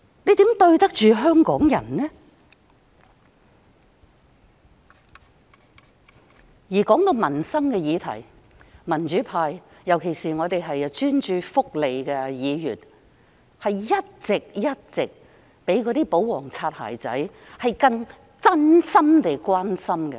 這樣如何對得起香港人？談到民生議題，民主派，尤其是專注福利事務的議員，一直較保皇"擦鞋仔"更真心地關心市民。